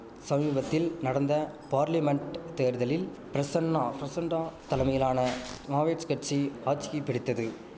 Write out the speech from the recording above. சமீபத்தில் நடந்த பார்லிமன்ட் தேர்தலில் பிரசன்னா பிரசண்டா தலமையிலான மாவேட்ஸ் கட்சி ஆட்சியை பிடித்தது